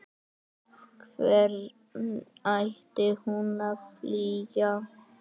Hvern ætti hún að flýja?